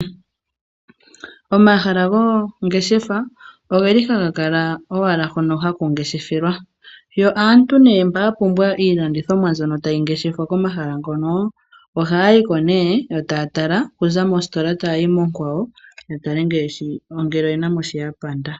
Omahala goongeshefa ogeli haga kala owala hono haku ngeshefelwa yo aantu nee mba yapumbwa iilandithomwa mbyono tayi ngeshefwa komahala hono ohaya yiko nee yo taya tala okuza mositola tayayi mo kwawo yatale ngele oyenamo shoka ya panda.